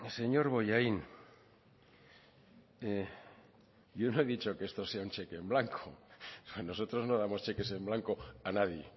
señor bollain yo no he dicho que esto sea un cheque en blanco a nosotros no damos cheques en blanco a nadie